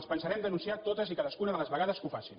els pensarem denunciar totes i cadascuna de les vegades que ho facin